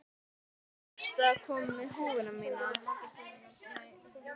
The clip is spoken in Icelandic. Varstu að koma með húfuna mína?